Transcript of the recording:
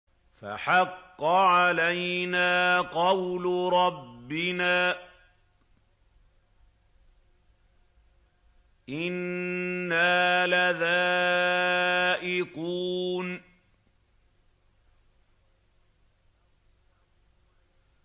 فَحَقَّ عَلَيْنَا قَوْلُ رَبِّنَا ۖ إِنَّا لَذَائِقُونَ